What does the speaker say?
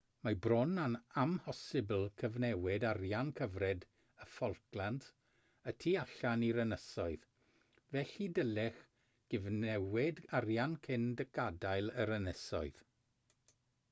mae bron yn amhosibl cyfnewid arian cyfred y falklands y tu allan i'r ynysoedd felly dylech gyfnewid arian cyn gadael yr ynysoedd